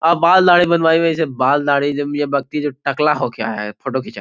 आप बाल दाढ़ी बनवाइएगा इसे बाल दाढ़ी ये व्यक्ति जो टकला होके आया है फोटो खिचाए --